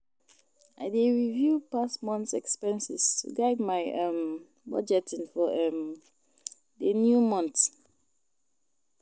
I dey review past months' expenses to guide my um budgeting for um the new month.